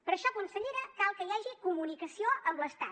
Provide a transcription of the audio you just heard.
per això consellera cal que hi hagi comunicació amb l’estat